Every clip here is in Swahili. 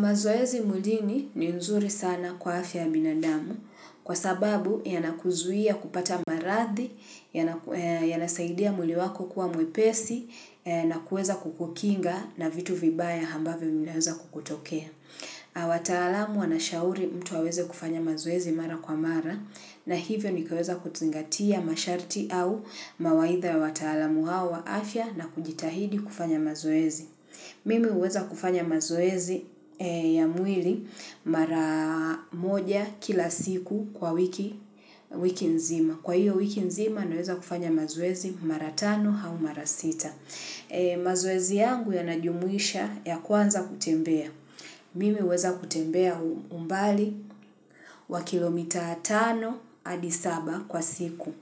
Mazoezi mwilini ni nzuri sana kwa afya ya binadamu kwa sababu yanakuzuia kupata marathi, yanasaidia mwili wako kuwa mwepesi na kuweza kukukinga na vitu vibaya hambavyo vinaweza kukutokea. Wataalamu wanashauri mtu aweze kufanya mazoezi mara kwa mara na hivyo nikaweza kuzingatia masharti au mawaidha ya wataalamu hawa afya na kujitahidi kufanya mazoezi. Mimi huweza kufanya mazoezi ya mwili mara moja kila siku kwa wiki nzima. Kwa hiyo wiki nzima naweza kufanya mazoezi mara tano hau mara sita. Mazoezi yangu yanajumuisha ya kwanza kutembea. Mimi huweza kutembea umbali wa kilomita tano adi saba kwa siku.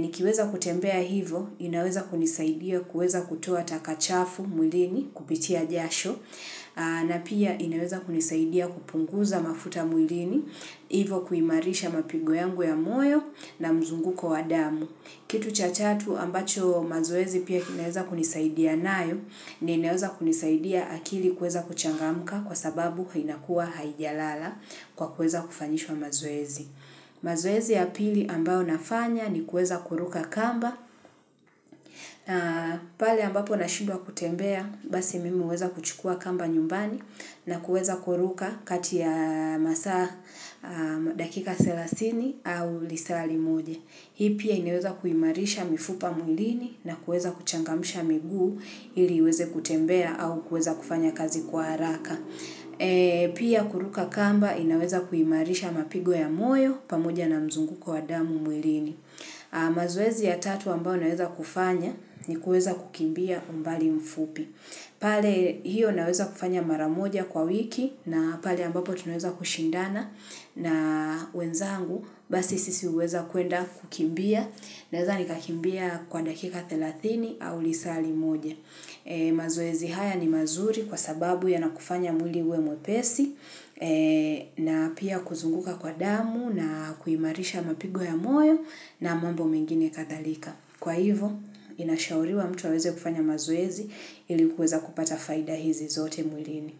Nikiweza kutembea hivo, inaweza kunisaidia kuweza kutoa taka chafu mwilini kupitia jasho, na pia inaweza kunisaidia kupunguza mafuta mwilini, hivo kuimarisha mapigo yangu ya moyo na mzunguko wa damu. Kitu cha chatu ambacho mazoezi pia inaweza kunisaidia nayo, ni inaweza kunisaidia akili kuweza kuchangamka kwa sababu hinakuwa haijalala kwa kuweza kufanyishwa mazoezi. Mazoezi ya pili ambao nafanya ni kuweza kuruka kamba, pale ambapo nashindwa kutembea basi mimi huweza kuchukua kamba nyumbani na kuweza kuruka kati ya masaa dakika selasini au lisaa limoja. Hii pia inaweza kuimarisha mifupa mwilini na kuweza kuchangamsha miguu ili iweze kutembea au kuweza kufanya kazi kwa haraka. Pia kuruka kamba inaweza kuimarisha mapigo ya moyo pamoja na mzunguko wa damu mwilini. Mazoezi ya tatu ambao naweza kufanya ni kuweza kukimbia umbali mfupi. Pale hiyo naweza kufanya mara moja kwa wiki na pale ambapo tunaeza kushindana na wenzangu basi sisi huweza kuenda kukimbia naweza nikakimbia kwa dakika thelathini au lisaa limoja. Mazoezi haya ni mazuri kwa sababu yanakufanya mwili uwe mwepesi na pia kuzunguka kwa damu na kuimarisha mapigo ya moyo na mambo mengine kadhalika. Kwa hivo, inashauriwa mtu aweze kufanya mazoezi ili kuweza kupata faida hizi zote mwilini.